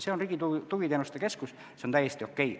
See on Riigi Tugiteenuste Keskuses, see on täiesti okei.